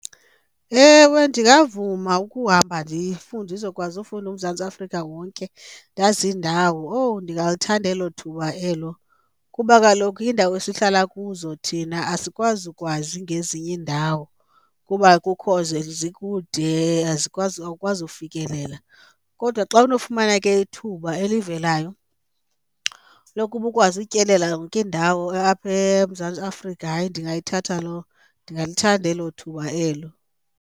Ewe ndingavuma ukuhamba ndifunde ndizokwazi ufunda uMzantsi Afrika wonke, ndazi iindawo. Owu ndingalithanda elo thuba elo, kuba kaloku iindawo esihlala kuzo thina asikwazi ukwazi ngezinye iindawo kuba kukho zikude awukwazi ufikelela. Kodwa xa unofumana ke ithuba elivelayo lokuba ukwazi utyelela yonke indawo apha eMzantsi Afrika, hayi ndingayithatha loo, ndingalithanda elo thuba elo.